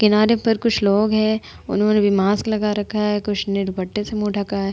किनारे पर कुछ लोग हैं। उन्होंने भी मास्क लगा रखा हैं। कुछ ने दुपट्टे से मुँह ढका हैं।